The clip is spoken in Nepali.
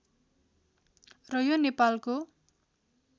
र यो नेपालको